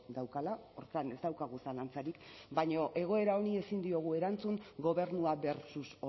daukala horretan ez daukagu zalantzarik baina egoera honi ezin diogu erantzun gobernua versus